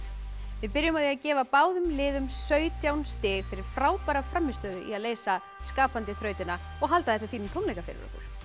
við byrjum á því að gefa báðum liðum sautján stig fyrir frábæra frammistöðu í að leysa skapandi þrautina og halda þessa fínu tónleika fyrir